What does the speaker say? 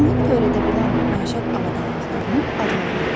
Yanğın törədə bilən məişət avadanlıqlarının adlarını de.